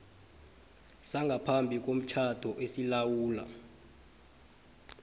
sangaphambi komtjhado esilawula